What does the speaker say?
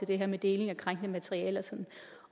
det her med deling af krænkende materiale